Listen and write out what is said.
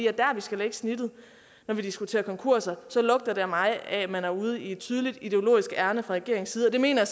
er der vi skal lægge snittet når vi diskuterer konkurser så lugter det for mig af at man er ude i et tydeligt ideologisk ærinde fra regeringens side og det mener